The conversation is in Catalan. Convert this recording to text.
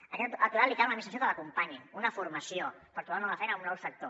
a aquest aturat li cal una administració que l’acompanyi una formació per tro·bar una nova feina a un nou sector